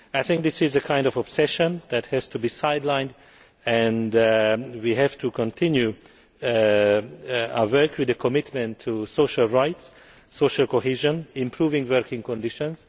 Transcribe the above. Union. I think this is a kind of obsession that has to be sidelined and we have to continue our work on the commitment to social rights, social cohesion and improving working conditions.